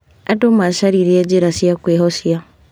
Andũ macaririe njĩra cia kwĩhocia.